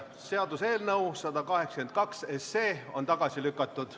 Seaduseelnõu 182 on tagasi lükatud.